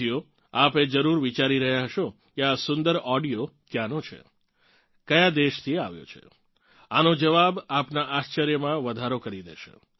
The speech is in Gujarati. સાથીઓ આપ એ જરૂર વિચારી રહ્યાં હશો કે આ સુંદર ઓડિયો ક્યાંનો છે કયા દેશથી આવ્યો છે આનો જવાબ આપનાં આશ્ચર્યમાં વધારો કરી દેશે